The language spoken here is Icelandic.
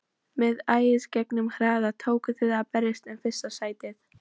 Með æðisgengnum hraða tókuð þið að berjast um fyrsta sætið.